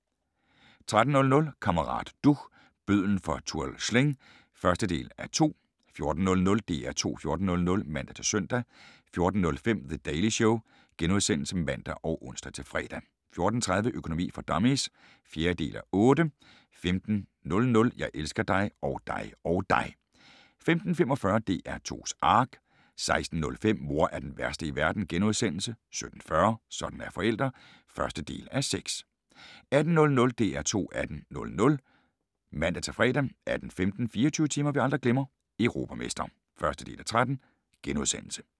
13:00: Kammerat Duch – bødlen fra Tuol Sleng (1:2) 14:00: DR2 14.00 (man-søn) 14:05: The Daily Show *(man og ons-fre) 14:30: Økonomi for dummies (4:8) 15:00: Jeg elsker dig. Og dig. Og dig 15:45: DR2's Ark 16:05: Mor er den værste i verden * 17:40: Sådan er forældre (1:6) 18:00: DR2 18.00 (man-fre) 18:15: 24 timer vi aldrig glemmer - Europamestre (1:13)*